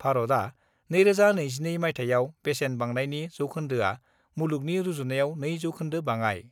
भारतआ 2022 माइथायाव बेसेन बांनायनि जौखोन्दोआ मुलुगनि रुजुनायाव 2 जौखोन्दो बाङाइ।